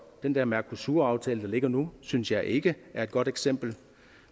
den der mercosuraftale der ligger nu synes jeg ikke er et godt eksempel